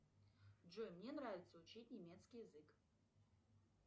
джой мне нравится учить немецкий язык